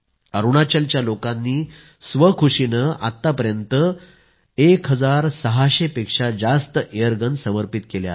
अरूणाचलच्या लोकांनी स्वखुशीने आत्तापर्यंत 1600 पेक्षा जास्त एअरगन समर्पित केल्या आहेत